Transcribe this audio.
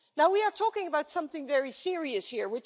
We are talking about something very serious here.